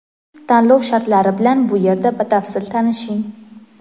Tanlov shartlari bilan bu yerda batafsil tanishing.